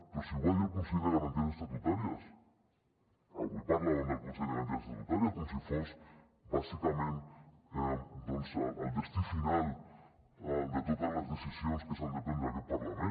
però si ho va dir el consell de garanties estatutàries avui parlàvem del consell de garanties estatutàries com si fos bàsicament doncs el destí final de totes les decisions que s’han de prendre a aquest parlament